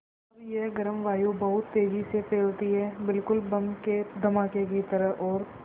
अब यह गर्म वायु बहुत तेज़ी से फैलती है बिल्कुल बम के धमाके की तरह और